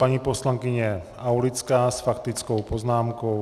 Paní poslankyně Aulická s faktickou poznámkou.